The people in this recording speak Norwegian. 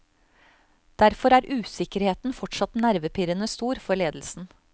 Derfor er usikkerheten fortsatt nervepirrende stor for ledelsen.